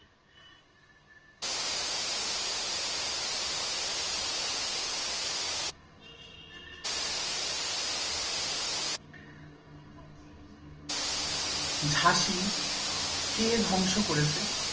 ঝাঁসি কে ধ্বংস করেছে?